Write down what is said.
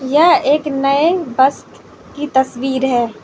यह एक नए बस की तस्वीर है।